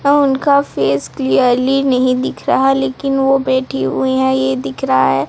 अ उनका face clearly नहीं दिख रहा लेकिन वो बैठी हुई है ये दिख रहा है।